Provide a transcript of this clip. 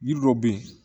Yiri dɔ bɛ yen